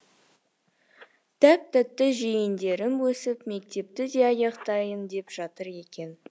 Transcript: тәп тәтті жиендерім өсіп мектепті де аяқтайын деп жатыр екен